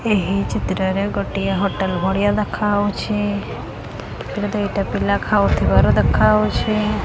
ଏହି ଚିତ୍ରରେ ଗୋଟିଏ ହୋଟେଲ ଭଳିଆ ଦେଖା ହୋଉଛି। ହେତିରେ ଦିଟା ପିଲା ଖାଉଥିବାର ଦେଖା ହୋଉଛି।